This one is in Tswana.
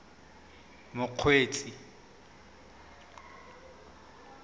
mokgweetsi